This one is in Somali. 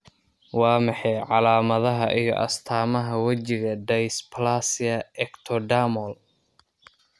Waa maxay calaamadaha iyo astaamaha wejiga dysplasia ectodermal?